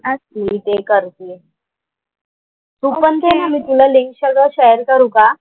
मी ते करतेय. तू पण दे ना मी तुला लिंक सगळं शेअर करू का?